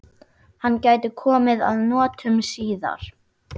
Hann gæti komið að notum síðar.